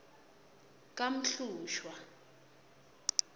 kamhlushwa